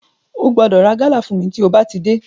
Ó gbọ́dọ̀ ra gálà fún mi tí ó bá ti dé.